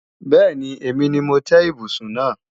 Bẹ́ẹ̀ni, èmi ni mo tẹ́ ibùsùn náà